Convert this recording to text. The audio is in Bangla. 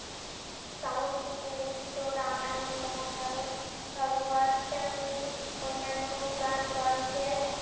সংস্কৃতে রচিত রামায়ণ মহাভারত ভগবৎ উম অন্যান্য পুরান গ্রন্থের